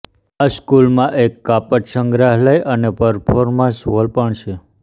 આ સંકુલમાં એક કાપડ સંગ્રહાલય અને પરફોર્મન્સ હોલ પણ છે